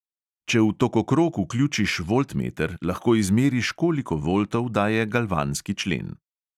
Če v tokokrog vključiš voltmeter, lahko izmeriš, koliko voltov daje galvanski člen.